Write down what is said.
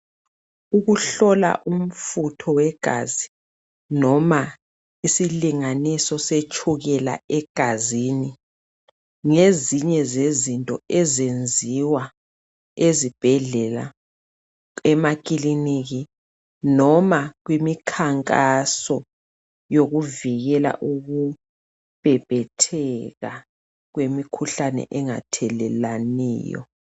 Ukuhlola umfutho wegazi noma isilinganiso setshukela egazini .Ngezinye zezinto ezenziwa ezibhedlela ,emakiliniki noma kumikhankaso yokuvikela ukumemetheka kwemikhuhlane engathelelwanayo.